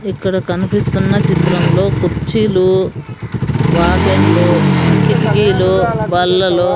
ఇక్కడ కనిపిస్తున్న చిత్రం లో కుర్చీలు వాకేన్లు కిటికీలు బల్లలు--